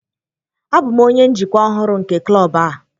Abụ m onye njikwa ọhụrụ nke klọb a